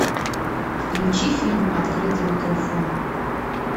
включи фильм открытый микрофон